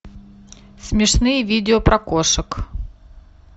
смешные видео про кошек